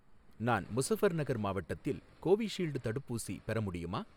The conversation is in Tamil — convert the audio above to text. நான் முசஃபர்நகர் மாவட்டத்தில் கோவிஷீல்டு தடுப்பூசி பெற முடியுமா?